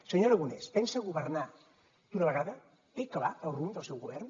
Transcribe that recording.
senyor aragonès pensa governar d’una vegada té clar el rumb del seu govern